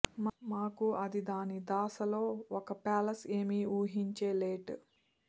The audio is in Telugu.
మాకు అది దాని దాస లో ఒక ప్యాలెస్ ఏమి ఊహించే లెట్